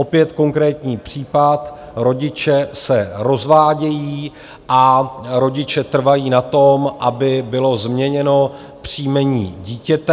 Opět konkrétní případ: rodiče se rozvádějí a rodiče trvají na tom, aby bylo změněno příjmení dítěte.